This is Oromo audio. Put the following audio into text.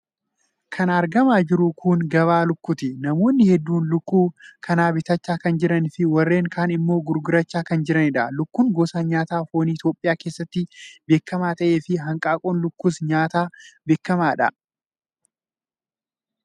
Kan argamaa jiru kun gabaa lukkuuti. Namoonni hedduun lukkuu kana bitachaa kan jiranii fi warreen kaan immoo gurgurachaa kan jiranidha. Lukkuun gosa nyaataa foonii Itoophiyaa keessatti beekamaa ta'ee fi hanqaaquun lukkuus nyaata beekamaadha.